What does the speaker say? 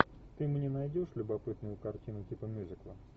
ты мне найдешь любопытную картину типа мюзикла